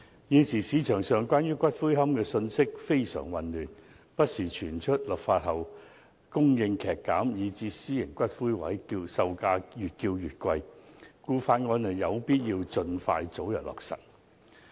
現時市場上關於骨灰安置所的信息非常混亂，不時傳出立法後供應劇減，以致私營骨灰龕位售價會越來越貴，所以有必要盡快通過《條例草案》。